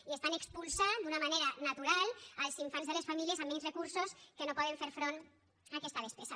i estan expulsant d’una manera natural els infants de les famílies amb menys recursos que no poden fer front a aquesta despesa